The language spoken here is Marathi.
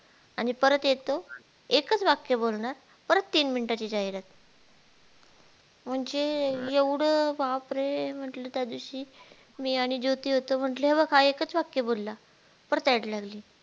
आणि परत येतो एकच वाक्य बोलनार परत तीन minute ची जाहिरात म्हणजे एवढ बापरे मी त्या दिवशी मी आणि ज्योती होतो म्हटलं हेग हा एकच वाक्य बोलला परत Ad लागली.